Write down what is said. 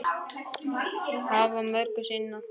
Hafa mörgu að sinna.